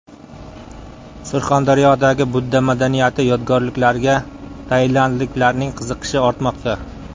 Surxondaryodagi budda madaniyati yodgorliklariga tailandliklarning qiziqishi ortmoqda.